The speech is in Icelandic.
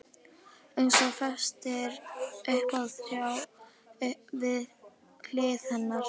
Eins og fest upp á þráð við hlið hennar.